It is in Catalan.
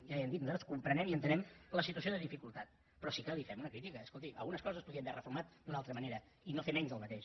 ja li hem dit nosaltres comprenem i entenem la situació de dificultat però sí que li fem una crítica escolti algunes coses es podien haver reformat d’una altra manera i no fer menys del mateix